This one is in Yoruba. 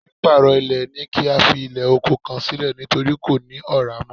Pípàrọ̀ ilẹ̀ ni kí a fi ilẹ̀ oko kan sílẹ̀ nítorí kò ní Ọ̀rá mọ́